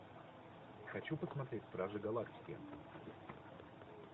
хочу посмотреть стражи галактики